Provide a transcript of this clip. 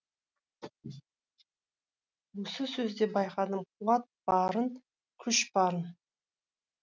осы сөзде байқадым қуат барын күш барын